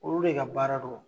Olu de ka baara do